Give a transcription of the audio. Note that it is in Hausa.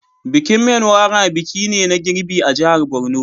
Bikin Menwara biki ne na girbi a jihar Borno.